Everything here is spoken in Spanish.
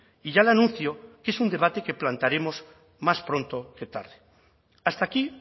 y ya le anuncio que es un debate que plantearemos más pronto que tarde hasta aquí